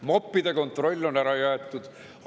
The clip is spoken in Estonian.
Moppide kontroll on ära jäetud.